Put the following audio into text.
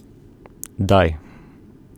Daj!